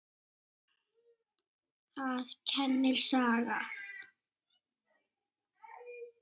Það kennir sagan.